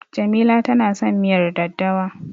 Jamila tana son miyar daddawa.